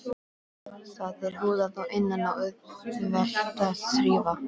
Það er húðað að innan og auðvelt að þrífa.